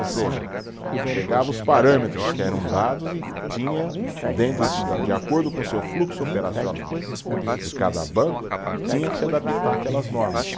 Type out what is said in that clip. Ou seja, pegava os parâmetros que eram dados e tinha, dentro da, de acordo com o seu fluxo operacional de cada banco, tinha que se adaptar àquelas normas.